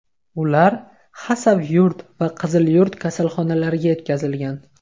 Ular Xasavyurt va Qizilyurt kasalxonalariga yetkazilgan.